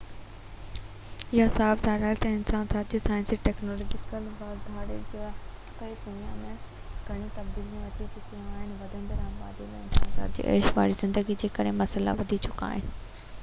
اهو صاف ظاهر آهي تہ انسان ذات جي سائنسي ۽ ٽيڪنالاجيڪل واڌاري جي ڪري دنيا ۾ گهڻيون تبديليون اچي چڪيون آهن ۽ وڌندڙ آبادي ۽ انسان ذات جو عيش واري زندگي جي ڪري مسئلا وڌي چڪا آهن